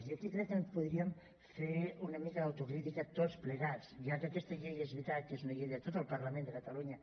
i aquí crec que podríem fer una mica d’autocrítica tots plegats ja que aquesta llei és veritat que és una llei de tot el parlament de catalunya